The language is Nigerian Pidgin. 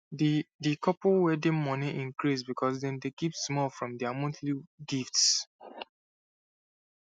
the the couple wedding money increase because dem dey keep small from their monthly gifts